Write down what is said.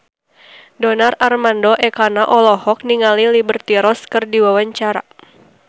Donar Armando Ekana olohok ningali Liberty Ross keur diwawancara